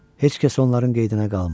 Heç kəs onların qayğısına qalmır.